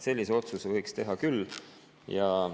Sellise otsuse võiks teha küll.